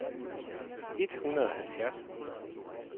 et hundrede og halvfjerds